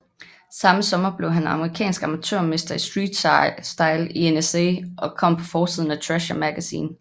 Samme sommer blev han amerikansk amatørmester i streetstyle i NSA og kom på forsiden af Thrasher Magazine